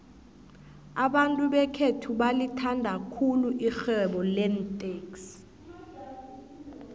abantu bekhethu balithanda khulu irhwebo leentexi